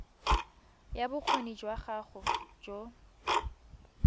ya bokgoni jwa gago jo